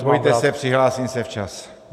Nebojte se, přihlásím se včas.